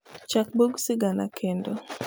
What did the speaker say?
chak bug sigana kendo